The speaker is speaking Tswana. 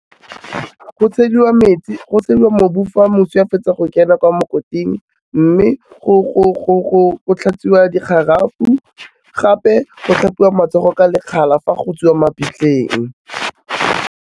Go tshediwa mobu fa moswi a fetsa go kena kwa mokoting mme, go tlhatswiwa dikgarawe gape go tlhapiwa matsogo ka lekgala fa go tswiwa mabitleng.